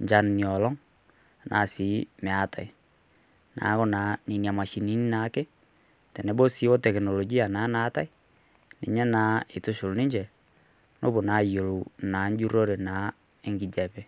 enchan ena oleng enaa sii meetae neeku enana mashinini ake tenebo sii oo tekinoloji naa naati ninye eitushul ninche nepuo ayiolou ejurore enkijiape